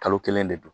Kalo kelen de don